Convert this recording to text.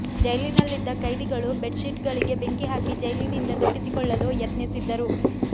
ಜೈಲಿನಲ್ಲಿದ್ದ ಖೈದಿಗಳು bed sheet ಗಳಿಗೆ ಬೆಂಕಿ ಹಾಕಿ ಜೈಲಿನಿಂದ ತಪ್ಪಿಸಿಕೊಳ್ಳಲು ಯತ್ನಿಸಿದ್ದರು